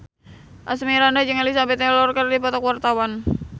Asmirandah jeung Elizabeth Taylor keur dipoto ku wartawan